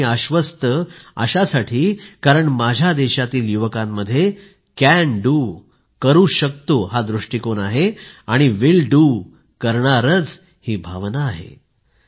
आनंदी आणि आश्वस्त अशासाठी कारण माझ्या देशातील युवकांमध्ये करू शकतो हा दृष्टिकोन आहे आणि करेन ही भावना आहे